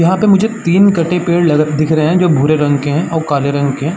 यहाँ पे मुझे तीन कटे पेड़ लग दिखे रहे हैं जो भूरे रंग के हैं और काले रंग के हैं।